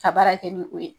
Ka baara kɛ ni o ye